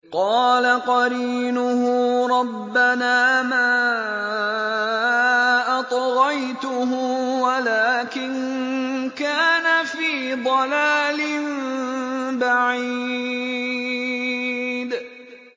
۞ قَالَ قَرِينُهُ رَبَّنَا مَا أَطْغَيْتُهُ وَلَٰكِن كَانَ فِي ضَلَالٍ بَعِيدٍ